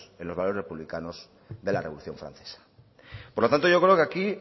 en los valores republicanos de la revolución francesa por lo tanto yo creo que aquí